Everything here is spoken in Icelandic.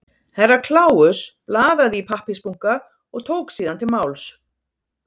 Herra Kláus blaðaði í pappírsbunka og tók síðan til máls.